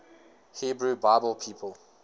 hebrew bible people